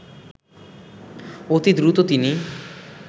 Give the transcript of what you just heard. অতি দ্রুত তিনি